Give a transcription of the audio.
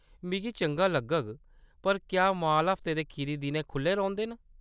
मिगी चंगा लग्गग, पर क्या माल हफ्ते दे खीरी दिनैं खु'ल्ले होंदे न ?